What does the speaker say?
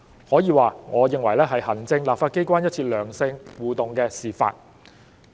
可以說，我認為這是行政立法機關一次良性互動的示範。